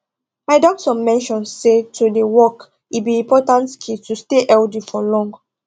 my doctor mention say to dey walk e be important key to stay healthy for long